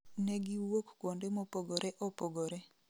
Negiwuok kuonde mopogore opogore